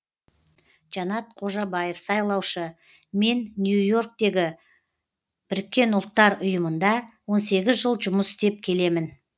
жанат қожабаев сайлаушы мен нью и орктегі біріккен ұлттар ұйымында он сегіз жыл жұмыс істеп келемін